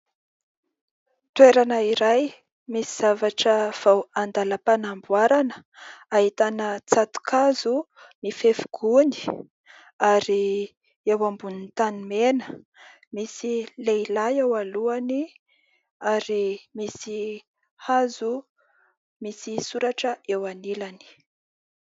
Toerana iray misy zavatra vao andalam-panamboarana, ahitana tsato-kazo mifefy gony ary eo ambony tanimena. Misy lehilahy ao alohany ary misy hazo misy soratra eo anilany.